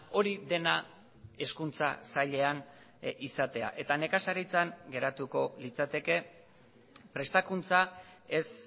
hori dena hezkuntza sailean izatea eta nekazaritzan geratuko litzateke prestakuntza ez